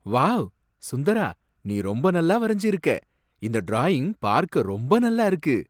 Wow! Sundara! நீ ரொம்ப நல்லா வரைஞ்சு இருக்க! இந்த டிராயிங் பார்க்க ரொம்ப நல்லா இருக்கு.